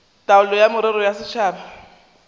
taolo ya merero ya setšhaba